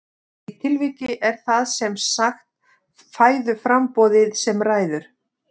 Í því tilviki er það sem sagt fæðuframboðið sem ræður.